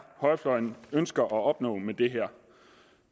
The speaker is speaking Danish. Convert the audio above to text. højrefløjen ønsker at opnå med det her